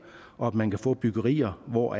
og at man kan få byggerier hvor